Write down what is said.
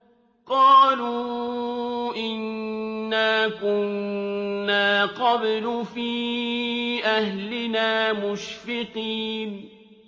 قَالُوا إِنَّا كُنَّا قَبْلُ فِي أَهْلِنَا مُشْفِقِينَ